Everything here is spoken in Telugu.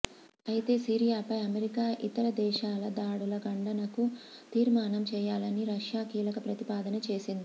అయితే సిరియాపై అమెరికా ఇతర దేశాల దాడుల ఖండనకు తీర్మానం చేయాలని రష్యా కీలక ప్రతిపాదన చేసింది